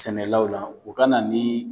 Sɛnɛlaw la u ka na ni